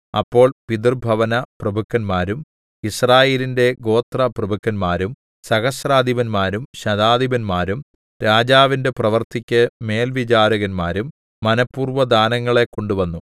അപ്പോൾ പിതൃഭവനപ്രഭുക്കന്മാരും യിസ്രായേലിന്റെ ഗോത്രപ്രഭുക്കന്മാരും സഹസ്രാധിപന്മാരും ശതാധിപന്മാരും രാജാവിന്റെ പ്രവൃത്തിക്ക് മേൽവിചാരകന്മാരും മനഃപൂർവ്വദാനങ്ങളെ കൊണ്ടുവന്നു